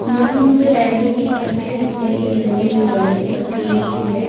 यह मुझे रेलवे की पटरी दिखाई दे रही है जो रेल की पटरी होती है।